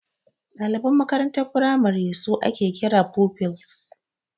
Daliban makarantar firamare su ake kira da Pupils.